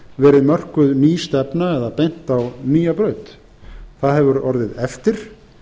verið mörkuð ný stefna eða beint á nýja braut það hefur orðið eftir